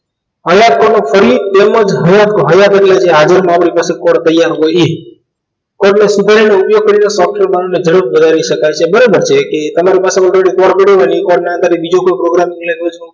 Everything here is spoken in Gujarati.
કડયુગ તેમજ તૈયાર હોય ઇ ઉપયોગ કરી ને વધારી સક્સે બરાબર છે કે તમાર પ્પાસે already format હોય એ formate ની અંદર બીજો કોઈ program create કરીસું